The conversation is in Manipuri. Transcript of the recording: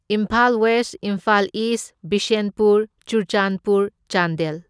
Imphal West, Imphal East, Bishnupur, Churachandpur, Chandel.